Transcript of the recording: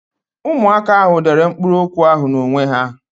Ụmụaka ahụ dere mkpụrụokwu ahụ n'onwe ha.